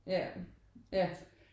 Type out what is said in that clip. Ja ja